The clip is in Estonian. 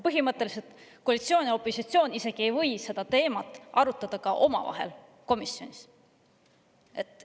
Põhimõtteliselt ei või koalitsioon ja opositsioon seda teemat isegi omavahel komisjonis arutada.